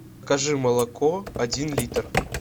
закажи молоко один литр